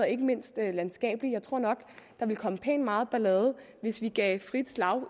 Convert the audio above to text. ikke mindst landskabeligt jeg tror nok at der ville komme pænt meget ballade hvis vi gav frit slag